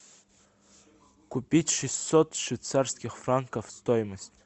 купить шестьсот швейцарских франков стоимость